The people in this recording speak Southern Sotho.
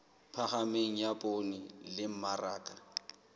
phahameng ya poone le mmaraka